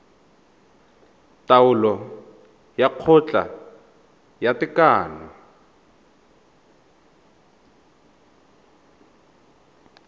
taolo ya kgotla ya tekano